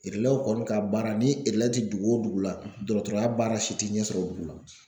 Erelɛw kɔni ka baara ni erelɛ tɛ dugu o dugu la dɔrɔtɔrɔya baara si tɛ ɲɛsɔrɔ o dugu la.